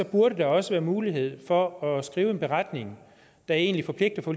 burde der også være mulighed for at skrive en beretning der egentlig forpligter